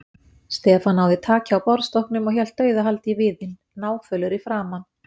Stefán náði taki á borðstokknum og hélt dauðahaldi í viðinn, náfölur í framan.